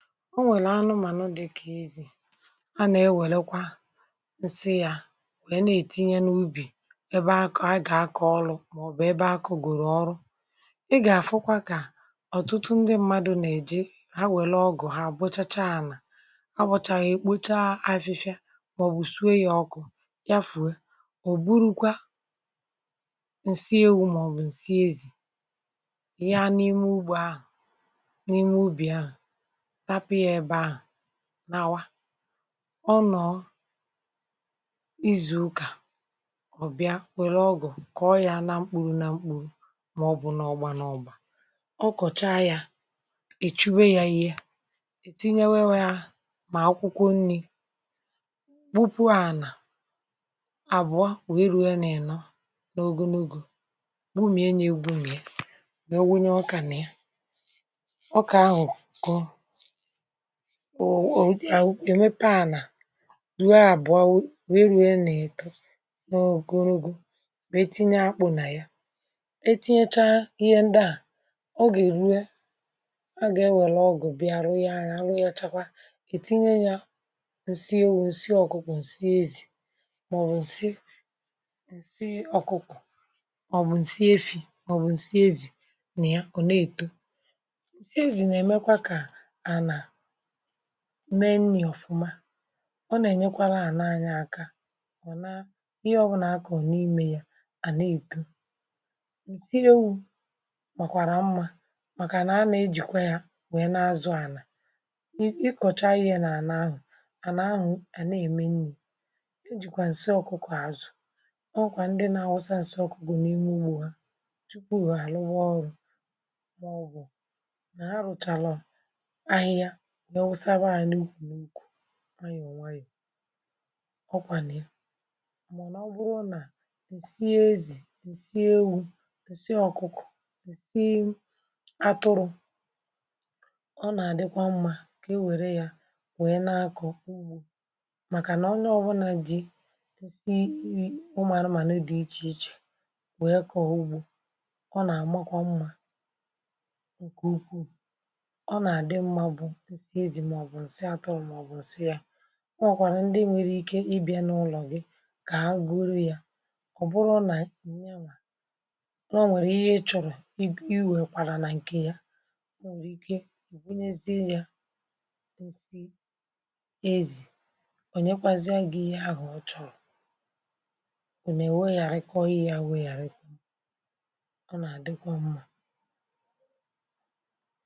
Ọ nwèlà anụmànụ dị ka ezì a na-ewèlekwa nsị ya, um na-èti ya n’ùbì ebe a kọ̀, ebe a gà-akọ̀ ọrụ, maọbụ ebe akụ̀ gòrò ọrụ. I gà-afụkwa, ka ọtụtụ ndị mmadụ na-eji ha. E nwekwara ọgụ̀ ha à bụ̀chàchá, à na-abụ̀chà ya, um ekpocha afịfịa maọbụ zuo ya ọkụ, ya fùwe.(um) Ọ bùrukwa nsị ewu, maọbụ nsị ezì, ya n’ime ùbì ahụ̀. N’ime ùbì ahụ̀, n’awa ọ nọ um izù ụka ọ bịa, wèrè ọgụ̀ kà ọ ya, na mkpụrụ na mkpụrụ. Ma ọ bụ n’ọgba n’ọgba, ọ kọ̀cha ya, í chụ̀e ya, tinyewe ya ihe a kpọrọ um akwụkwọ nni. Bùpù à nà àbụọ, wèrù ya, na-èno n’ọ̀gọ̀nùgụ̀, bú míé, na egbumíé. um Wèrù wùnye ọkà nà ya, ọkà ahụ̀ kọọ nsị ọ̀bụ̀ um ànà ànà ruo à à bụ̀ a wèrè nwetè na-èto nà ogologo. Tinye akpụ̀ nà ya, tinyecha ihe ndị ahụ̀ ọ gà-eru, a gà-enwèlè ọgụ̀ bịa rụọ ya. Ọ̀ chakwa à, na-etinye ya nsị ewu, nsị ọ̀kụkụ̀, nsị ezì, ma ọ̀ bụ nsị efì. Nsị ọ̀kụkụ̀, maọbụ um nsị ezì, na-eme ka nni ahụ̀ na-eto ọfụma. Ọ na-enyekwara ànà anyị aka, ọ na-eme ka ihe ọbụla e kọrọ n’ime ya na-eto ísì. Nsị ewu makwara mma, maka na ànà ya na-ejikwe ya, um na-enwekwa ike ịzụ ànà. N’ikọcha ihe nà ànà ahụ̀, ànà ahụ̀ a na-eme nni e ji kwa nsị ọ̀kụkụ̀ àzụ. Ọ wụkwà ndị na-awụsa um nsị ọ̀kụkụ̀ n’ime ùgbò ha jupù ha. Ha na-arùba ọrụ, maọbụ n’iyò n’iyò. Ọkwa n’ime ọ̀, ma ọ na-abụ nà dị sie ezì, dị sie ewu, dị sie ọ̀kụkụ̀, maọbụ dị sie atụrụ, um ọ na-adikwa mma nke ukwuu. Nke i wèrè ya, wèlè ya, wee na-akọkwa um ùgbò, maka na onye ọbụla ji dị sie umàrụ ma n’ụdị dị iche iche, wèrè kọ̀ọ ùgbò. Ọ na-amakwa mma nke ukwu. um Maọbụ nsị atọ ọ̀, maọbụ nsị ya, o nwekwara ndị nwere ike ịbịa n’ụlọ gị, ka a goro ya. Ọ̀ bụrụ nà nnyanwá nọ, nwekwara ihe i chọ̀rọ̀ iwekwara ya, na nkị ya nọ, nwekwara ike igweenezie ya nsị ezì. Ọ nyekwazịa gị ihe ahụ̀ ọ chọ̀rọ̀, o nà-ewé ya, rịkọrị ya, wee ya rịkọ. Ọ na-adịkwa mma.